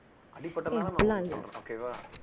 அடி பட்டதுனால இது எல்லாம் சொல்ற okay வா